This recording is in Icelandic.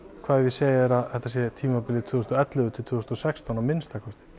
hvað ef ég segi þér að þetta sé tímabilið tvö þúsund og ellefu til tvö þúsund og sextán að minnsta kosti